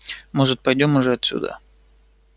может пойдём уже отсюда